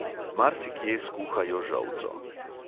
Marsikje skuhajo žolco.